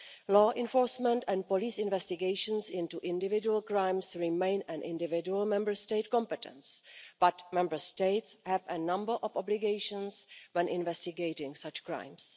Law enforcement and police investigations into individual crimes remain an individual Member State competence, but Member States have a number of obligations when investigating such crimes.